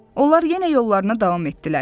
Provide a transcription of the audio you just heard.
Onlar yenə yollarına davam etdilər.